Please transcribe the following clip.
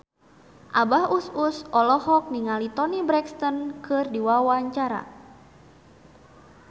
Abah Us Us olohok ningali Toni Brexton keur diwawancara